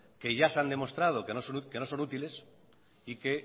que ya se han demostrado que no son útiles y que